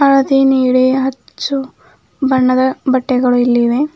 ಹಳದಿ ನೀಲಿ ಹಚ್ಚು ಬಣ್ಣದ ಬಟ್ಟೆಗಳು ಇಲ್ಲಿವೆ.